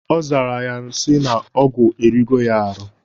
Ọ zara ya sị na ogwu erigo ya arụ